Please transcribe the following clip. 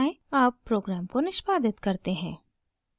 अब program को निष्पादित करते हैं